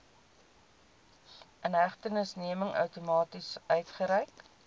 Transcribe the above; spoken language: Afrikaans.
inhegtenisneming outomaties uitgereik